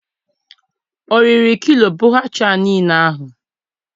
O riri kloe bhature nille ahụ?